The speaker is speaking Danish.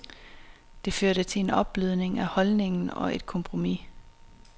Det førte til en opblødning af holdningen og et kompromis.